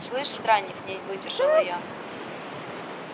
слышь странник не выдержала я